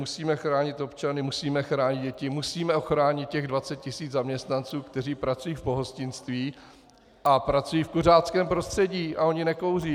Musíme chránit občany, musíme chránit děti, musíme ochránit těch 20 tisíc zaměstnanců, kteří pracují v pohostinství a pracují v kuřáckém prostředí a oni nekouří.